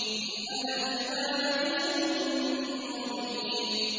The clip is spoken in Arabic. إِنْ أَنَا إِلَّا نَذِيرٌ مُّبِينٌ